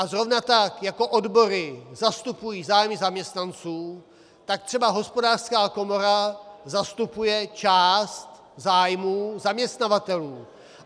A zrovna tak jako odbory zastupují zájmy zaměstnanců, tak třeba Hospodářská komora zastupuje část zájmů zaměstnavatelů.